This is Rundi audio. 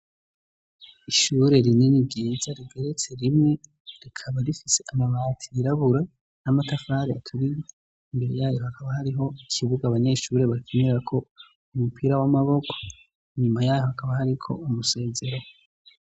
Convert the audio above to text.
Ishure rinini ryiza rigeretse rimwe rikaba rifise amabati yirabura n'amatafari aturiye imbere yayo hakaba hariho ikibuga abanyeshure bakinirako umupira w'amaboko inyuma yaho hakaba hariko umusezero.